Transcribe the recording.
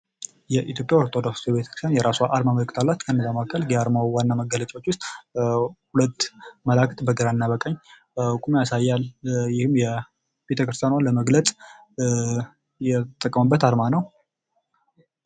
የኢትዮጵያ ኦርቶዶክስ ተዋሕዶ ቤተክርስቲያን የራሷ አርማ ምልክት አላት። ከነዛ መካከል የአርማው ዋና መገለጫዎች ውስጥ ሁለት መልአክ በግራና በቀኝ ቁመው ያሳያል ይህም ቤተክርስቲያኗን ለመግለጽ የተጠቀሙበት አርማ ነው።